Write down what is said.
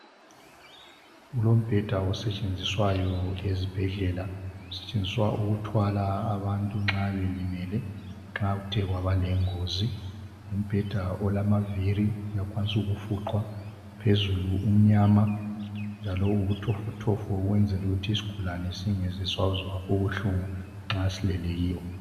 Kulombheda osetshenziswayo ezibhedlela, usetshenziswa ukuthwala abantu nxa belimele nxa kuthe kwaba lengozi. Ngumbheda olamaviri uyakwaniswa ukufuqwa phezulu umnyama njalo ubutofotofo ukwenzela ukuthi isigulane singesisazwa ubuhlungu nxa silele kiwo.